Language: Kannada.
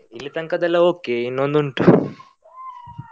ಇಲ್ಲಿ ತನಕದೆಲ್ಲ okay ಇನ್ನೊಂದ್ ಉಂಟು .